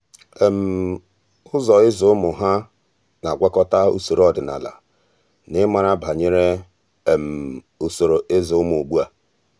ụ́zọ́ ị́zụ́ ụ́mụ́ há um nà-ágwàkọ́tà usoro ọ́dị́nala na ị́màrà banyere um usoro ị́zụ́ ụ́mụ́ ugbu a.